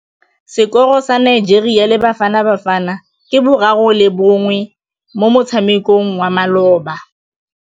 Sekôrô sa Nigeria le Bafanabafana ke 3-1 mo motshamekong wa malôba.